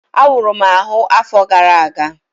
Awuru m ahụ afọ gara aga